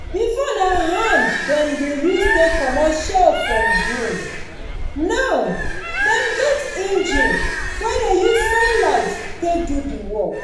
before na hand dem dey use take comot shell from grain. now dem get engine wey dey use sunlight take do the work.